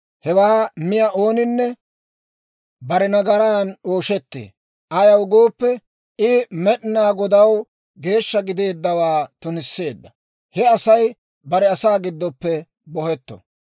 Hewaa miyaa ooninne bare nagaran ooshettee; ayaw gooppe, I Med'inaa Godaw geeshsha gideeddawaa tunisseedda. He Asay bare asaa giddoppe bohetto.